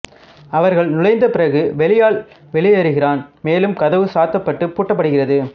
அவர்கள் நுழைந்தப் பிறகு வேலையாள் வெளியேறுகிறான் மேலும் கதவு சாத்தப்பட்டு பூட்டப்படுகிறது